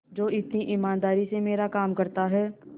जो इतनी ईमानदारी से मेरा काम करता है